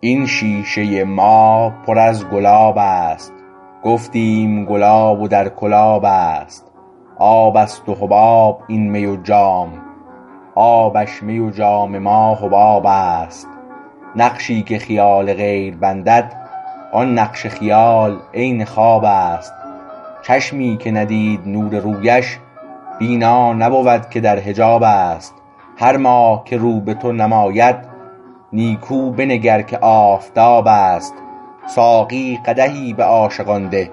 این شیشه ما پر از گلاب است گفتیم گلاب و در کل آب است آب است و حباب این می و جام آبش می و جام ما حباب است نقشی که خیال غیر بندد آن نقش خیال عین خواب است چشمی که ندید نور رویش بینا نبود که در حجاب است هر ماه که رو به تو نماید نیکو بنگر که آفتاب است ساقی قدحی به عاشقان ده